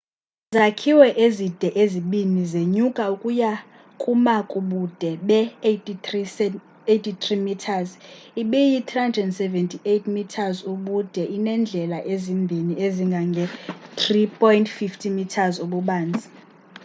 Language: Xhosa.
izakhiwo ezide ezibini zenyuka ukuya kuma kubude be 83 meters iyi 378 meters ubude inendlela ezimbini ezingange 3.50 m ububanzi